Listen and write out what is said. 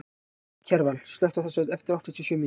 Kjarval, slökktu á þessu eftir áttatíu og sjö mínútur.